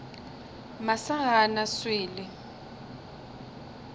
masa ga a na swele